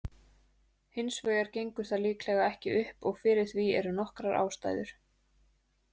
Hins vegar gengur það líklega ekki upp og fyrir því eru nokkrar ástæður.